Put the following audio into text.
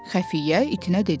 Xəfiyyə itinə dedi.